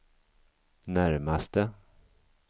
närmaste